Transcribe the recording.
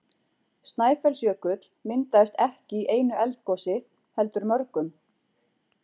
Snæfellsjökull myndaðist ekki í einu eldgosi heldur mörgum.